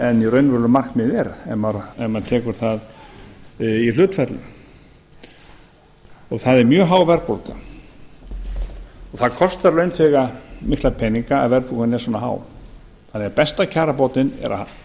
en raunveruleg markmið er ef maður tekur það í hlutfallið það er mjög há verðbólga það kostar launþega mikla peninga að verðbólgan er svona há þannig að besta kjarabótin er að